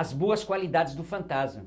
as boas qualidades do fantasma,